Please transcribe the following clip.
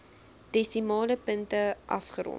desimale punte afgerond